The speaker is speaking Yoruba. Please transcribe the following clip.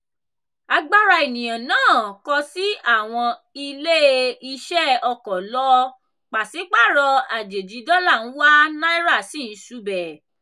agbara eniyan naa kọsi awọn ile-iṣẹ ọkọ lọ paṣipaarọ ajeji dọla ń wa naira sì ń ṣubẹ.